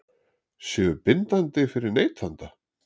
Séu bindandi fyrir neytanda?